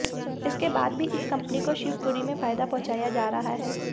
इसके बाद भी इस कंपनी को शिवपुरी में फायदा पहुंचाया जा रहा है